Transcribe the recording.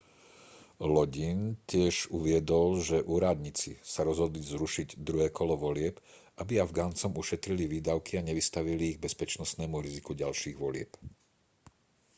lodin tiež uviedol že úradníci sa rozhodli zrušiť druhé kolo volieb aby afgancom ušetrili výdavky a nevystavili ich bezpečnostnému riziku ďalších volieb